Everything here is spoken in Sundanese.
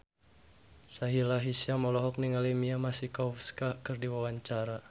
Sahila Hisyam olohok ningali Mia Masikowska keur diwawancara